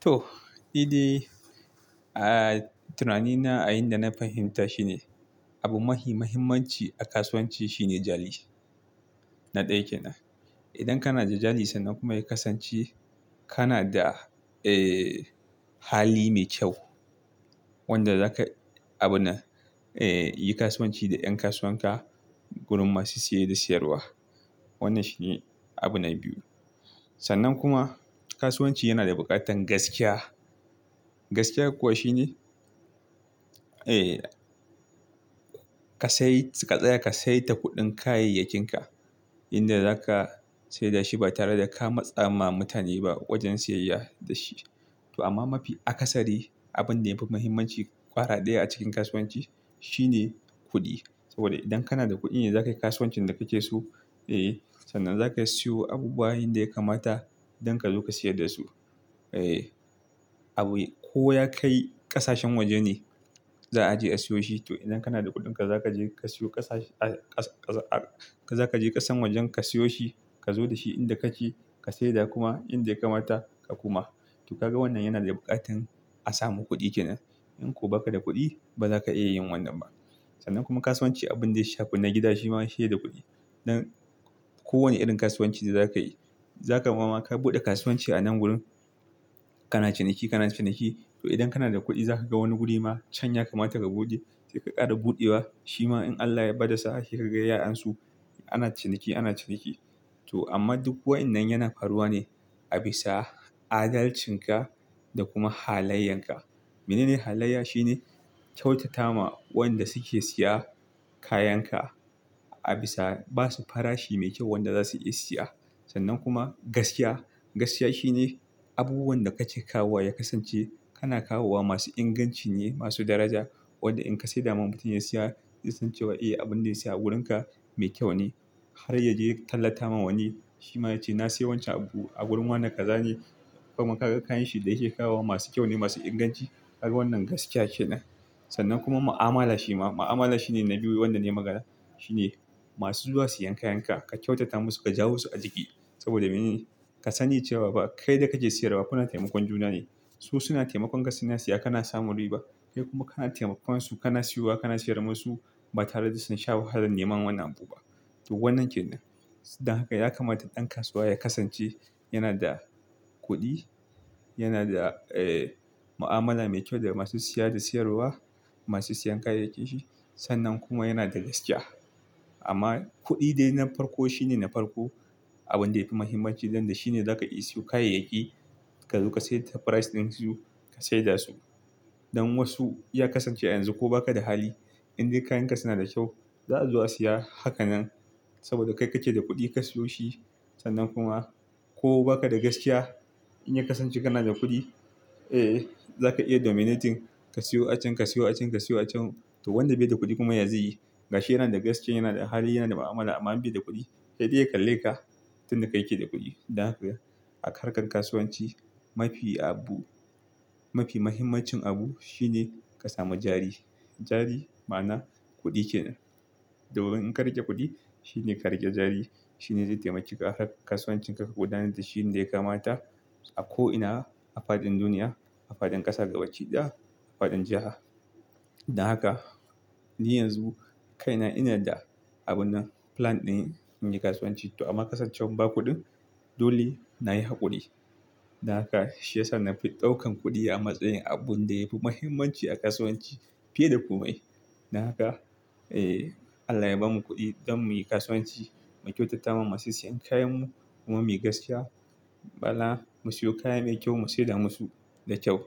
To, nide a tunanin na a yanda na fahimta shine, abu mafi mahimmanci a kasuwanci shine jari. Na ɗaya kenan. Idan kana da jari sannan kuma ya kasance kana da, eh, hali mai kyau wanda zaka abu na, eh, yi kasuwanci da ƴan kasuwan ka, gurin masu siye da siyarwa. Wannan shi ne abun na biyu. Sannan kuma kasuwanci yana da buƙatar gaskiya. Gaskiya kuwa shine, eh, ka tsaya ka sayar da kuɗin kayayyakinki, inda zaka saida shi ba tare da ka matsa ma mutane ba a wajen siyayya da shi. To amma mafi akasari abin da yafi muhimmanci ƙwara ɗaya a cikin kasuwanci shine kuɗi. Saboda idan kana da kuɗi ne za ka yi kasuwancin da kake so, eh, sannan za ka siyo abubuwa inda ya kamata don ka zo ka siyar dasu. Eh, abu ko ya kai ƙasashen waje ne za a je a siyo shi. To idan kana da kuɗin ka, za ka je ka siyo ƙasa, za ka je ƙasan waje ka siyo shi, ka zo da shi inda kake, ka saida kuma inda ya kamata ka kuma. To, kaga wannan yana da buƙatar a samu kuɗi kenan. In kuwa ba ka da kuɗi, ba za ka iya yin wannan ba. Sannan kuma kasuwanci abin da ya shafi na gida shi ma sai da kuɗi. Don kowane irin kasuwanci da za ka yi, zaka mama ka buɗe kasuwanci a nan gurin, kana ciniki, kana ciniki. To idan kana da kuɗi, za ka ga wani guri ma can ya kamata ka buɗe, sai ka ƙara buɗewa. Shi ma in Allah ya bada sa'a sai kaga ya ansu, ana ciniki, ana ciniki. To amma duk waɗannan yana faruwa ne a bisa adalcinka da kuma halayenka. Mene ne halayya? Shine kyautata ma wanda suke siya kayan ka a bisa ba su farashi mai kyau wanda za su iya siya. Sannan kuma gaskiya. Gaskiya shine abubuwan da kake kawowa ya kasance kana kawowa masu inganci ne, masu daraja. Wanda in ka saida ma mutum ya siya, ya san cewa eh, abun da ya siya a wurin ka mai kyau ne. Har ya je ya tallata ma wani, shi ma ya ce,"na siya wancan abu a wurin wane kaza ne." Kuma ka ga kayan shi da yake kawowa masu kyau ne, masu inganci. Har wannan gaskiya kenan. Sannan kuma ma'amala shi ma. Ma'amala shine na biyu wanda ne magana. Shi ne masu zuwa siyan kayan ka, ka kyautata masu, ka jawo su a jiki. Saboda mene? Ka sani cewa ba kai da kake siyarwa kuna taimakon juna ne. Su suna taimakon gaskiya suna siya kana samun riba. Kai kuma kana taimakon su, kana siyowa, kana siyar musu ba tare da sun sha wahalan neman wannan abu ba. To wannan kenan. Don haka ya kamata ɗan kasuwa ya kasance yana da kuɗi, yana da, eh, ma'amala mai kyau da masu siya da siyarwa, masu siyan kayayyakin shi. Sannan kuma yana da gaskiya. Amma kuɗi dai na farko shine na farko abin da yafi muhimmanci don da shine za ka iya siyo kayayyaki ka zo ka saida ta price ɗin su, ka saida su. Don wasu ya kasance a yanzu ko baka da hali, inda kayan ka suna da kyau, za a zo a siya hakanan. Saboda kai kake da kuɗi ka siyo shi. Sannan kuma ko baka da gaskiya in ya kasance kana da kuɗi, eh, za ka iya dominating ka siyo a can, ka siyo a can, ka siyo a can. To wanda bai da kuɗi kuma ya ziyi, ga shi yana da gaskiya, yana da hali, yana da ma'amala amma bai da kuɗi, yaɗiya ya kalle ka, tun da kai kake da kuɗi. Don haka a harkar kasuwanci mafi abu, mafi muhimmancin abu shine ka samu jari. Jari ma na kuɗi kenan. Domin in ka rage kuɗi shine ka rage jari. Shi ne zai taimake ka a harkar kasuwancin ka ka gudanar da shi yanda ya kamata a ko ina a faɗin duniya, a faɗin ƙasa gabaɗaya, a faɗin jiha. Don haka ni yanzu kai na ina da abun nan, plan ɗin in yi kasuwanci. To amma kasancewan ba kuɗin, dole na yi haƙuri. Don haka shi ya sa mafi ɗaukan kuɗi a matsayin abun da yafi muhimmanci a kasuwanci fiye da komai. Don haka, eh, Allah ya bamu kuɗi don mu yi kasuwanci, mu kyautata ma masu siyan kayan mu, kuma muyi gaskiya. Bala mu siyo kaya mai kyau mu saida musu da kyau.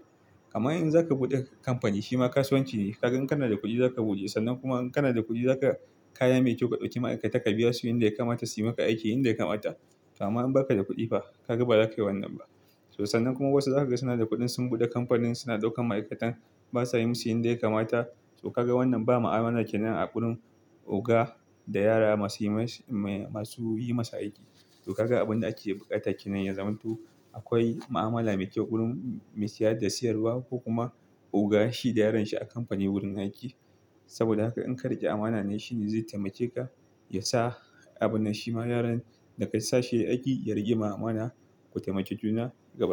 Kamar in za ka buɗe kamfani shi ma kasuwanci ne, ka gan kana da kuɗi za ka buɗe. Sannan kuma in kana da kuɗi za ka, kaya mai kyau ka ɗauki ma'aikata ka biya su inda ya kamata, su yi maka aiki inda ya kamata. Amma in baka da kuɗi fa, ka ga ba za ka yi wannan ba. To sannan kuma wasu zaka ga suna da kuɗi sun buɗe kamfanin suna ɗaukan ma'aikatan basa yi musu inda ya kamata. To kaga wannan ba ma'amala kenan a wurin oga da yara masu yi masa aiki. To kaga abin da ake buƙata kenan yazaman to akwai ma'amala mai kyau wurin mai siya da siyarwa ko kuma oga shi da yaron shi a kamfani wurin aiki. Saboda haka in ka riƙe amana nan shi ne zai taimake ka ya sa abun nan shi ma yaron da ka sa shi ya yi aiki, ya riƙe ma amana ku taimake juna gabaɗaya.